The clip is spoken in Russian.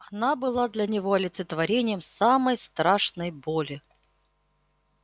она была для него олицетворением самой страшной боли